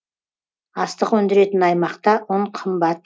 астық өндіретін аймақта ұн қымбат